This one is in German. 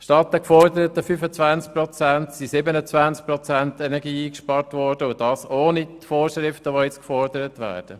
Statt den geforderten 25 Prozent wurden 27 Prozent Energie eingespart und dies ohne die nun vorgelegten Vorschriften.